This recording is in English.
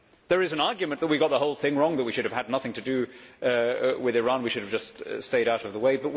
There is an argument that we got the whole thing wrong, that we should have had nothing to do with Iran, that we should have just stayed out of the way.